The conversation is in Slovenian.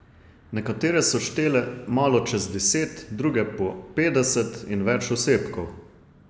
Nekatere so štele malo čez deset, druge po petdeset in več osebkov.